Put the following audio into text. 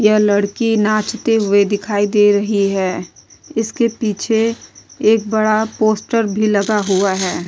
यह लड़की नाचते हुए दिखाई दे रही है इसके पीछे एक बड़ा पोस्टर भी लगा हुआ है।